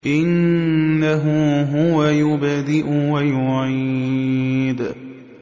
إِنَّهُ هُوَ يُبْدِئُ وَيُعِيدُ